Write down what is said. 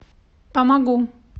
помогу